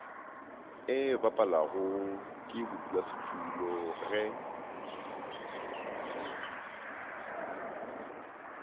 e bapalwago ke bodulasetulo ge